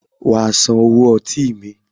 Wàá San owó ọtí mi.